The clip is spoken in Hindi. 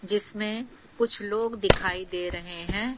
जिसमें कुछ लोग दिखाई दे रहे है।